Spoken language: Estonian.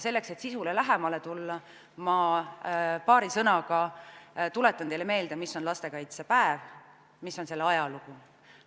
Selleks, et sisule lähemale tulla, ma paari sõnaga tuletan teile meelde, mis on lastekaitsepäev, mis on selle ajalugu.